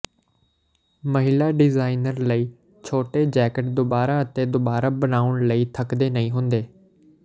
ਮਹਿਲਾ ਡਿਜ਼ਾਈਨਰ ਲਈ ਛੋਟੇ ਜੈਕਟ ਦੁਬਾਰਾ ਅਤੇ ਦੁਬਾਰਾ ਬਣਾਉਣ ਲਈ ਥੱਕਦੇ ਨਹੀਂ ਹੁੰਦੇ